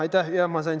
Aitäh!